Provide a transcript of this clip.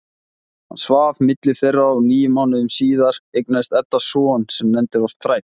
Hann svaf milli þeirra og níu mánuðum síðar eignaðist Edda son sem nefndur var Þræll.